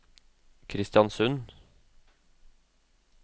Kristiansund